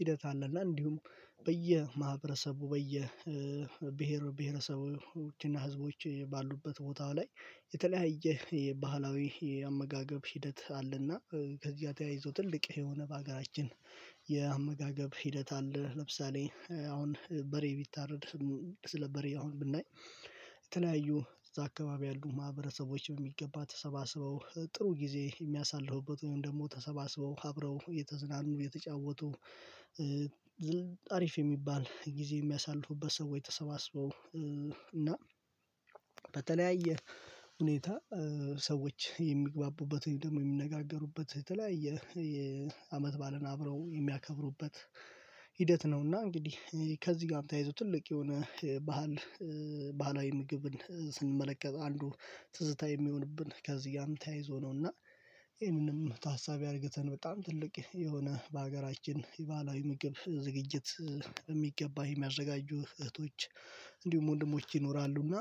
ሂደት አለ። እና እንዲሁም በየማህበረሰቡ በየብሄር ብሄረሰቦችና ህዝቦች ባሉበት ቦታው ላይ የተለያየ የባህላዊ የአመጋገብ ሂደት አለና ከዚያ ተያይዞ ትልቅ የሆነ በሀገራችን የአመጋገብ ሂደት አለ። ለምሳሌ አሁን በሬ ቢታረድ ስለ በሬ አሁን ብናይ የተለያዩ እዛ አካባቢ ያሉ ማህበረሰቦች በሚገባ ተሰባስበው ጥሩ ጊዜ የሚያሳልፉበት ወይም ደግሞ ተሰባስበው አብረው እየተዝናኑ እየተጫወቱ አሪፍ የሚባል ጊዜ የሚያሳልፉበት። ሰዎች ተሰባስበው እና በተለያየ ሁኔታ ሰዎች የሚግባቡበትን ደግሞ የሚነጋገሩበት የተለያየ የአመት ባዓልን አብረው የሚያከብሩበት ሂደት ነውና። እንግዲህ ከዚህ ጋም ተያይዞ ትልቅ የሆነ ባህል ባህላዊ ምግብን ስንመለከት አንዱ ትዝታ የሚሆንብን ከዚጋም ተያይዞ ነውና ይህንንም ታሳቢ አድርገተን በጣም ትልቅ የሆነ በሀገራችን የባህላዊ ምግብ ዝግጅት በሚገባ የሚያዘጋጁ እህቶች እንዲሁም ወንድሞች ይኖራሉ። እና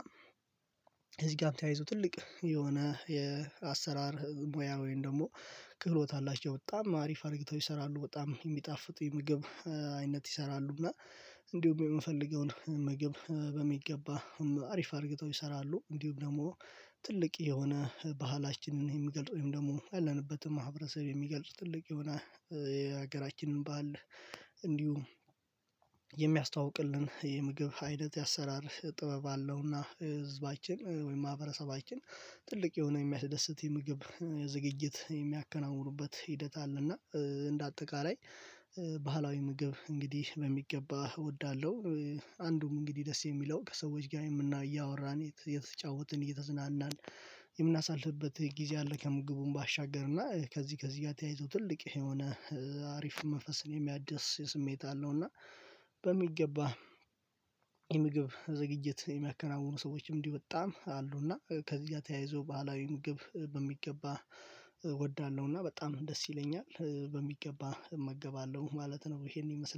እዚህ ጋም ተያይዞ ትልቅ የሆነ የአሰራር ሙያ ወይም ደግሞ ክህሎት አላቸው። በጣም አሪፍ አርግተው ይሰራሉ በጣም የሚጣፍጥ የምግብ አይነት ይሰራሉ። እና እንዲሁ የምፈልገውን ምግብ በሚገባ አሪፍ አርግተው ይሰራሉ። እንዲሁም ደግሞ ትልቅ የሆነ ባህላችንን የሚገልጥ ወይም ደግሞ ያለንበትም ማህበረሰብ የሚገልጽ ትልቅ የሆነ የሀገራችንን ባዓል እንዲሁ የሚያስተዋውቅልን የምግብ አይነት የአሰራር ጥበብ አለውና ህዝባችን ወይም ማህበረሰባችን ትልቅ የሆነ የሚያስደስት የምግብ ዝግጅት የሚያከናውኑበት ሂደት አለና። እንደ አጠቃላይ ባህላዊ ምግብ እንግዲህ በሚገባ እወዳለሁ። አንዱም እንግዲህ ደስ የሚለው ከሰዎች ጋር እያወራን እየተጫወትን እየተዝናናን የምናሳልፍበት ጊዜ አለ። ከምግቡም ባሻገርና ከዚህ ከዚህ ጋር ተያይዞ ትልቅ የሆነ አሪፍ መንፈስን የሚያድስ ስሜት አለው። እና በሚገባ የምግብ ዝግጅት የሚያከናውኑ ሰዎችም እንዲህ በጣም አሉና ከዚጋ ተያይዞ ባህላዊ ምግብ በሚገባ እወዳለሁ እና በጣም ደስ ይለኛል በሚገባ እመገባለሁ ማለት ነው። ይሄንን ይመስላል